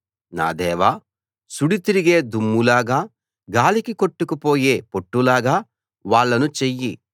నా దేవా సుడి తిరిగే దుమ్ములాగా గాలికి కొట్టుకుపోయే పొట్టులాగా వాళ్ళను చెయ్యి